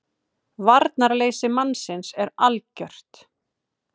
VARNARLEYSI mannsins er algjört.